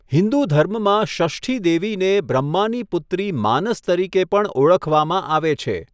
હિન્દુ ધર્મમાં, ષષ્ઠી દેવીને બ્રહ્માની પુત્રી માનસ તરીકે પણ ઓળખવામાં આવે છે.